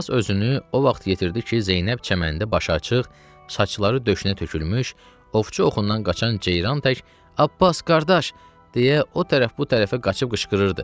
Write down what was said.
Abbas özünü o vaxt yetirdi ki, Zeynəb çəməndə başıaçıq, saçları döşünə tökülmüş, ovçu oxundan qaçan ceyran tək Abbas qardaş! deyə o tərəf bu tərəfə qaçıb qışqırırdı.